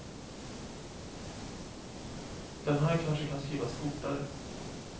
Den här kanske kan skrivas fortare.